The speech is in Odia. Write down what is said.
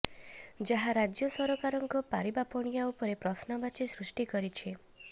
ଯାହା ରାଜ୍ୟ ସରକାରଙ୍କ ପାରିବା ପଣିଆ ଉପରେ ପ୍ରଶ୍ନବାଚୀ ସୃଷ୍ଟି କରିଛି